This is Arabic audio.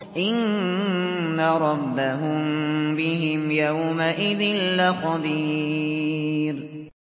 إِنَّ رَبَّهُم بِهِمْ يَوْمَئِذٍ لَّخَبِيرٌ